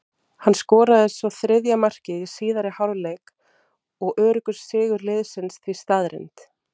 Hann skoraði svo þriðja markið í síðari hálfleik og öruggur sigur liðsins því staðreynd.